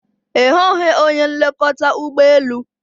Ị hụghị onye nlekọta ụgbọ elu?